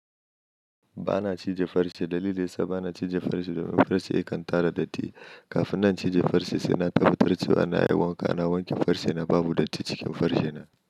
Ba na cije farce, dalili nesa ba na cije farce domin farce ya kan tara datti. Kafin na cije farce sai na karɓi turci, ana yi wanka, na wanke farce na babu datti cikin farce na.